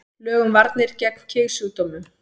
Lög um varnir gegn kynsjúkdómum.